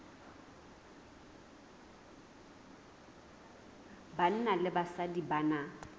banna le basadi ba na